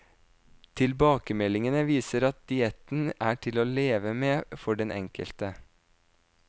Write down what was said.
Tilbakemeldingene viser at dietten er til å leve med for den enkelte.